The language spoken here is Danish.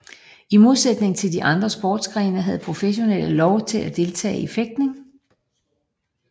I modsætning til de andre sportsgrene havde professionelle lov til at deltage i fægtning